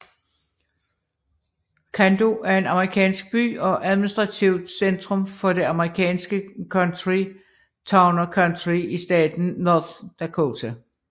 Cando er en amerikansk by og administrativt centrum for det amerikanske county Towner County i staten North Dakota